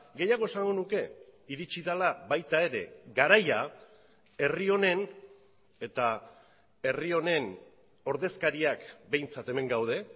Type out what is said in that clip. gehiago esango nuke iritsi dela baita ere garaia herri honen eta herri honen ordezkariak behintzat hemen gaude